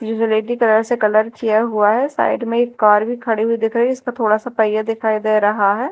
ये ग्रेटी कलर से कलर किया हुआ है साइड में एक कार भी खड़ी हुई दिख रही इसका थोड़ा सा पहिया दिखाई दे रहा है।